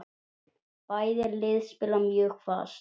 Bæði lið spila mjög fast.